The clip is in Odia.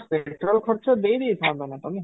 petrol ଖର୍ଚ୍ଚ ଦେଇ ଦେଇ ଥାଆନ୍ତ ନା ତମେ?